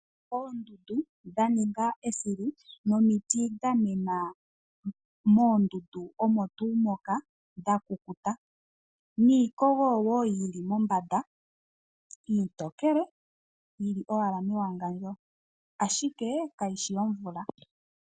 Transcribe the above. Oondundu dha ninga esilu nomiti dha mena moondundunomontuu moka dhakukuta. Niikogo wo yili mombanda iitokele, yi li owala mewangandjo ashike kayi shi yomvula.